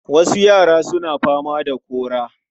Wasu yara suna fama da kora.